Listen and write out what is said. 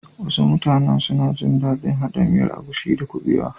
Wasu mutane suna gin dadin hada miyar agushi da kubewa.